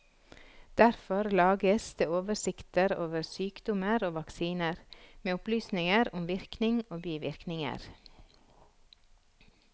Derfor lages det oversikter over sykdommer og vaksiner, med opplysninger om virkning og bivirkninger.